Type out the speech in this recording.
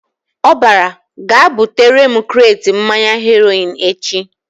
Ọ bara "Gaa butere m kret mmanya Heroin echi!"